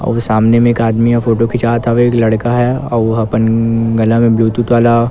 अउ सामने मे एक आदमी ह फोटो खिचात हवे एक लड़का है अउ ओ अपन गला मे ब्लूटूथ वाला--